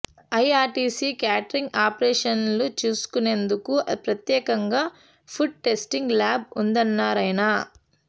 IRCTC catering operations చూసుకునేందుకు ప్రత్యేకంగా food testing lab ఉందన్నారాయన